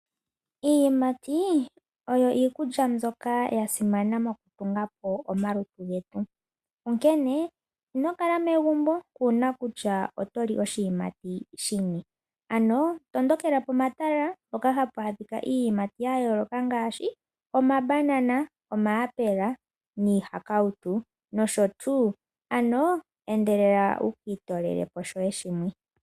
Iiyimati oyo iikulya mbyoka ya simana mokutunga omalutu getu. Onkene, inokala megumbo kuna kutya otoli oshiyimati shini. Ano tondokela pomatala mpoka hapu adhika iiyimatti ya yooloka ngaashi omabanana, omayapula, niihakautu, noshotuu. Ano enedelela ukiitoolele shoye shimwe.